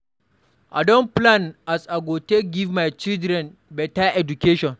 I don plan as I go take give my children beta education.